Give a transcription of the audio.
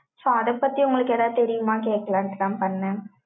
So அதைப் பத்தி, உங்களுக்கு, ஏதாவது தெரியுமா? கேட்கலான்ட்டுதான், பண்ணேன்.